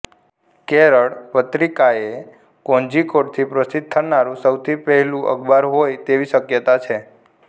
કેરળ પત્રિકા એ કોઝિકોડથી પ્રસિદ્ધ થનારું સૌથી પહેલું અખબાર હોય તેવી શક્યતા છે